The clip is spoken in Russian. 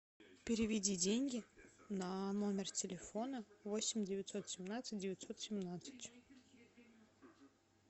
переведи деньги на номер телефона восемь девятьсот семнадцать девятьсот семнадцать